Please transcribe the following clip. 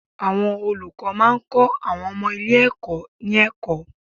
Àwọn olùkọ́ máa ń kọ́ àwọn ọmọ ilé ẹ̀kọ́ ní ẹ̀kọ́.